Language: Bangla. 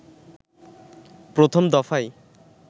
প্রথম দফায়